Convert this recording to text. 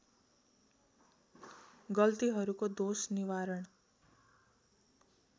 गल्तीहरूको दोष निवारण